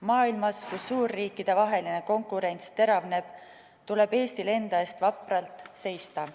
Maailmas, kus suurriikide vahel konkurents teravneb, tuleb Eestil enda eest vapralt seista.